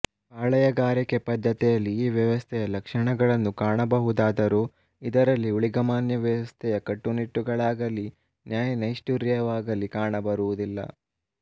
ಪಾಳೆಯಗಾರಿಕೆ ಪದ್ಧತಿಯಲ್ಲಿ ಈ ವ್ಯವಸ್ಥೆಯ ಲಕ್ಷಣಗಳನ್ನು ಕಾಣಬಹುದಾದರೂ ಇದರಲ್ಲಿ ಊಳಿಗಮಾನ್ಯ ವ್ಯವಸ್ಥೆಯ ಕಟ್ಟುನಿಟ್ಟುಗಳಾಗಲಿ ನ್ಯಾಯನೈಷ್ಠುರ್ಯವಾಗಲಿ ಕಾಣಬರುವುದಿಲ್ಲ